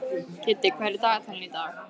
Kiddi, hvað er í dagatalinu í dag?